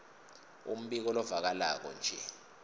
umbiko lovakalako nje